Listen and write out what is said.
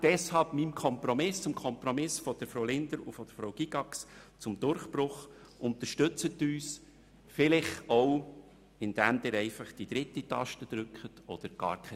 Deshalb verhelfen Sie doch unserem Kompromiss zum Durchbruch und unterstützen Sie uns, vielleicht auch, indem Sie einfach die dritte Taste drücken oder gar keine.